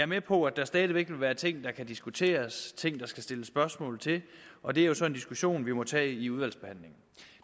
med på at der stadig væk vil være ting der kan diskuteres ting der skal stilles spørgsmål til og det er jo så en diskussion vi må tage i udvalgsbehandlingen